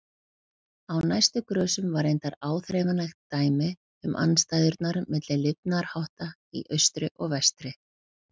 Á næstu grösum var reyndar áþreifanlegt dæmi um andstæðurnar milli lifnaðarhátta í austri og vestri.